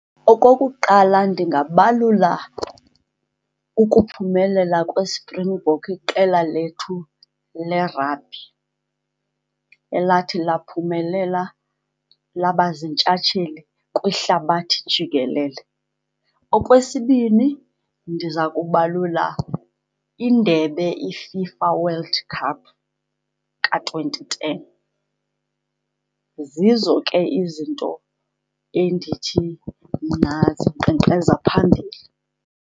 Okokuqala, ndingabalula ukuphumelela kweSprinkboks, iqela lethu le-rugby elathi laphumelela labaziintshatsheli kwihlabathi jikelele. Okwesibini, ndiza kubalula indebe iFIFA World Cup ka-twenty ten. Zizo ke izinto endithi mna zinkqenkqeza phambili.